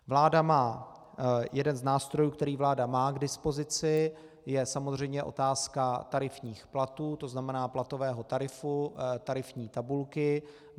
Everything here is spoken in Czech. Jeden z nástrojů, který vláda má k dispozici, je samozřejmě otázka tarifních platů, to znamená platového tarifu, tarifní tabulky.